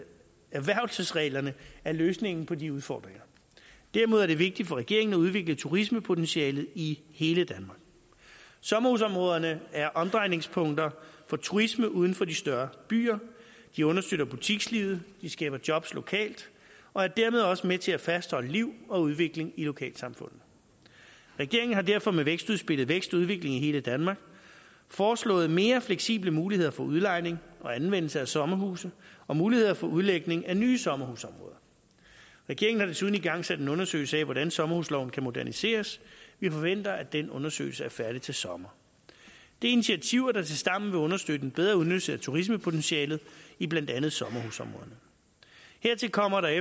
erhvervelsesreglerne er løsningen på de udfordringer derimod er det vigtigt for regeringen at udvikle turismepotentialet i hele danmark sommerhusområderne er omdrejningspunkter for turisme uden for de større byer de understøtter butikslivet de skaber jobs lokalt og er dermed også med til at fastholde liv og udvikling i lokalsamfundet regeringen har derfor med vækstudspillet vækst og udvikling i hele danmark foreslået mere fleksible muligheder for udlejning og anvendelse af sommerhuse og muligheder for udlægning af nye sommerhusområder regeringen har desuden igangsat en undersøgelse af hvordan sommerhusloven kan moderniseres vi forventer at den undersøgelse er færdig til sommer det er initiativer der tilsammen vil understøtte en bedre udnyttelse af turismepotentialet i blandt andet sommerhusområderne hertil kommer at